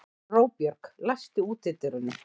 Róbjörg, læstu útidyrunum.